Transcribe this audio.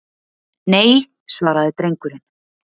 Nei, svaraði drengurinn.